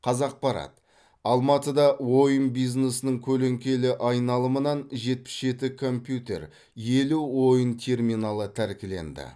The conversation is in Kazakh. қазақпарат алматыда ойын бизнесінің көлеңкелі айналымынан жетпіс жеті компьютер елу ойын терминалы тәркіленді